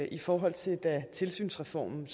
i forhold til da tilsynsreform